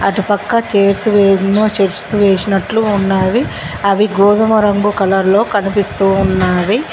అటుపక్క చైర్స్ ఎమో చిప్స్ వేసినట్లు ఉన్నాయి అవి గోధుమ రంగు కలర్ లో కనిపిస్తూ ఉన్నావి.